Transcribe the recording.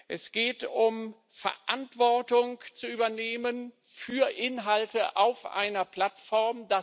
Es geht darum, Verantwortung zu übernehmen für Inhalte auf einer Plattform.